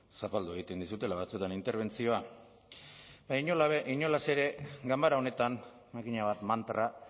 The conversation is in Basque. zapaldu egiten dizutela batzuetan interbentzioa baina inolaz ere ganbara honetan makina bat mantra